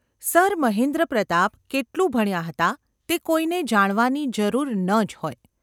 Sir Mahendrapratap કેટલું ભણ્યા હતા તે કોઈને જાણવાની જરૂર ન જ હોય.